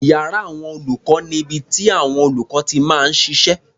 Iyàrá àwọn olùkọ́ ni ibi tíàwọn olùkọ́ ti máa ń ṣiṣẹ́.